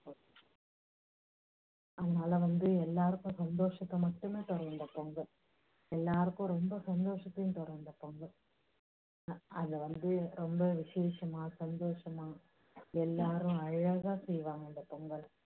அதனால வந்து எல்லோருக்கும் சந்தோஷத்தை மட்டுமே தான் தரும் இந்த பொங்கல். எல்லாருக்கும் ரொம்ப சந்தோஷத்தையும் தரும் இந்த பொங்கல். அதுல வந்து ரொம்ப விஷேஷமா சந்தோஷமா எல்லாரும் அழகா செய்வாங்க இந்த பொங்கல்.